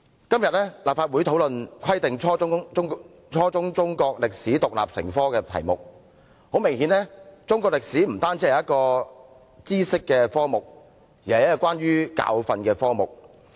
"今天立法會討論"規定初中中國歷史獨立成科"議題，很明顯，中國歷史不單是一個知識的科目，更是一個關於教訓的科目。